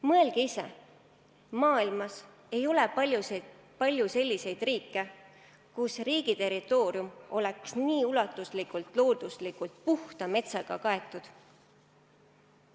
Mõelge ise: maailmas ei ole palju selliseid riike, mille territoorium oleks nii ulatuslikult loodusliku metsaga kaetud.